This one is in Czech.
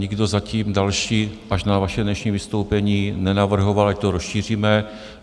Nikdo zatím další, až na vaše dnešní vystoupení, nenavrhoval, ať to rozšíříme.